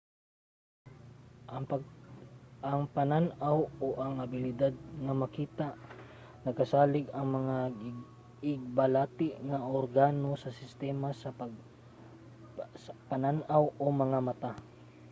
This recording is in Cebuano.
ang panan-aw o ang abilidad nga makakita nagasalig sa mga igbalati nga organo sa sistema sa panan-aw o mga mata